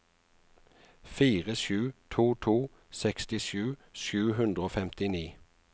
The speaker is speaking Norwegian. fire sju to to sekstisju sju hundre og femtini